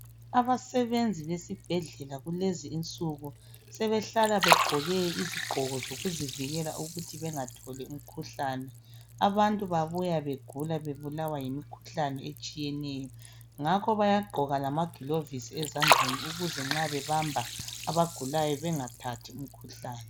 Abasebenzi besibhedlela kulezi insuku sebehlala begqoke izigqoko zokuzivikela ukuthi bengatholi umkhuhlane. Abantu babuya begula bebulawa yimikhuhlane etshiyeneyo ngakho bayagqoka lamagulovusi ezandleni ukuze nxa bebamba abagulayo bengathathi imikhuhlane.